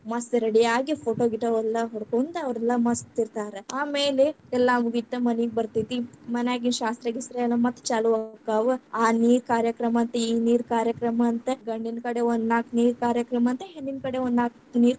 ಮಸ್ತ್ ready ಯಾಗಿ photo ಗೀಟೋ ಎಲ್ಲಾ ಹೊಡ್ಕೊಂತ ಅವ್ರೆಲ್ಲಾ ಮಸ್ತ್‌ ಇರ್ತಾರಾ. ಆಮೇಲೆ ಎಲ್ಲಾ ಮುಗಿತ್ ಮನಿಗ್‌ ಬರ್ತೇತಿ. ಮನ್ಯಾಗಿನ್ ಶಾಸ್ತ್ರ ಗೀಸ್ರ ಎಲ್ಲಾ ಮತ್ತೆ ಚಾಲು ಆಗ್ತೈತಿ , ಆ ನೀರ್ ಕಾರ್ಯಕ್ರಮ ಅಂತೆ ಈ ನೀರ್ ಕಾರ್ಯಕ್ರಮ ಅಂತೆ ಗಂಡಿನಕಡೆ ಒಂದನಾಕ್ ನೀರ್‌ ಕಾರ್ಯಕ್ರಮ ಅಂತೆ , ಹೆಣ್ಣಿನಕಡೆ ಒಂದನಾಕ್ ನೀರ್‌.